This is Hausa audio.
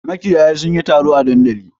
Makiyaya sun yi taro a dandali.